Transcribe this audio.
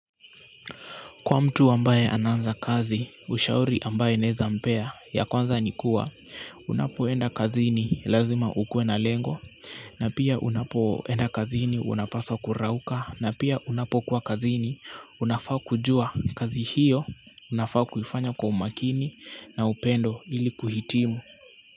Kwa mtu ambaye anaanza kazi, ushauri ambayo naeza mpea, ya kwanza ni kuwa, unapoenda kazini, lazima ukue na lengo, na pia unapoenda kazini, unapaswa kurauka, na pia unapokuwa kazini, unafaa kujua, kazi hiyo, nafaa kuifanya kwa umakini, na upendo ili kuhitimu.